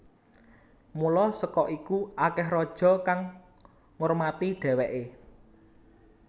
Mula saka iku akeh raja kang ngurmati dheweke